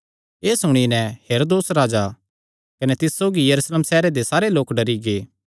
एह़ सुणी नैं हेरोदेस राजा कने तिस सौगी यरूशलेम सैहरे दे सारे लोक डरी गै